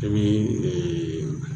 I bi eee